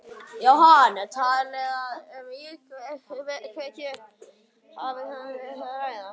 Jóhann, er talið að um íkveikju hafi verið að ræða?